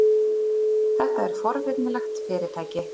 Þetta er forvitnilegt fyrirtæki.